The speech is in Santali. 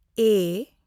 ᱮᱹ